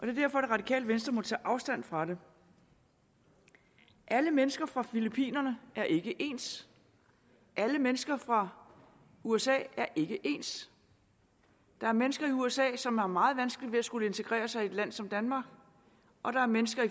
det radikale venstre må tage afstand fra det alle mennesker fra filippinerne er ikke ens alle mennesker fra usa er ikke ens der er mennesker i usa som vil have meget vanskeligt ved at skulle integrere sig i et land som danmark og der er mennesker